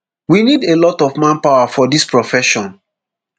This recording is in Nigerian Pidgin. we need a lot of manpower for dis profession